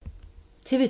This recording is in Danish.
TV 2